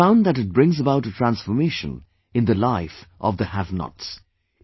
I have found that it brings about a transformation in the life of the havenots